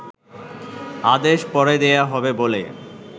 আদেশ পরে দেয়া হবে বলে